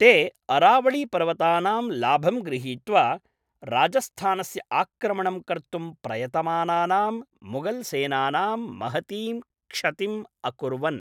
ते अरावळी पर्वतानां लाभं गृहीत्वा राजस्थानस्य आक्रमणं कर्तुं प्रयतमानानां मुगल्सेनानां महतीं क्षतिम् अकुर्वन्।